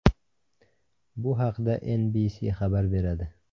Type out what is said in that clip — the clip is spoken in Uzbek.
Bu haqda NBC xabar beradi .